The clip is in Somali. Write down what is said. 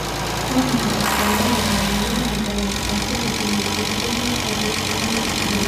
Waa maxay astaamaha iyo calaamadaha daran ee ku dhasha neutropenia autosomal ee ka taliya?